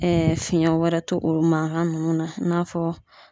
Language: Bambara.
fiɲɛ wɛrɛ to olu mankan ninnu na i n'a fɔ